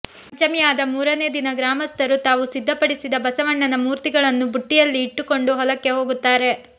ಪಂಚಮಿ ಆದ ಮೂರನೇ ದಿನ ಗ್ರಾಮಸ್ಥರು ತಾವು ಸಿದ್ಧಪಡಿಸಿದ ಬಸವಣ್ಣನ ಮೂರ್ತಿಗಳನ್ನು ಬುಟ್ಟಿಯಲ್ಲಿ ಇಟ್ಟುಕೊಂಡು ಹೊಲಕ್ಕೆ ಹೋಗುತ್ತಾರೆ